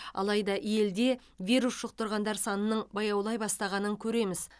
алайда елде вирус жұқтырғандар санының баяулай бастағанын көреміз